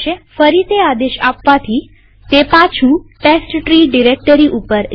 ફરી તે આદેશ આપવાથી તે પાછું ટેસ્ટટ્રી ડિરેક્ટરી ઉપર લઇ જશે